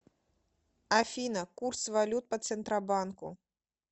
афина курс валют по центробанку